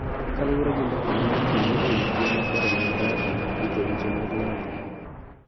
Kaluwore gi mbaka ma ne otimre e wi tim makare mag data, rito weche mag ng�ato,